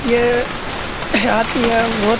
ये हाथी है बोहोत --